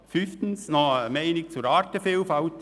Fünftens noch eine Bemerkung zur Artenvielfalt: